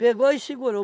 Pegou e segurou.